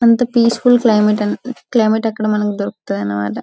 అంత peaceful climate climate అక్కడ మనకి దొరుకుతాడన్నమాట.